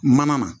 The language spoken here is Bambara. Mana na